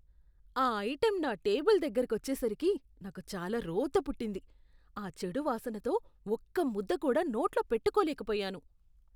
ఆ ఐటెం నా టేబుల్ దగ్గరకొచ్చేసరికే, నాకు చాలా రోతపుట్టింది. ఆ చెడు వాసనతో ఒక్క ముద్ద కూడా నోట్లో పెట్టుకోలేకపోయాను.